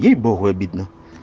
ей богу обидно